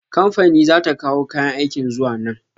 Kamfani za ta kawo kayan aikin zuwa nan.